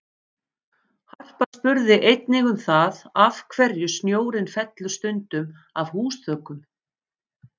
Harpa spurði einnig um það af hverju snjórinn fellur stundum af húsþökum?